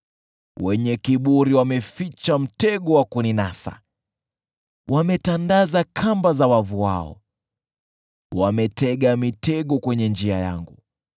Wenye kiburi wameficha mtego wa kuninasa, wametandaza kamba za wavu wao, wametega mitego kwenye njia yangu.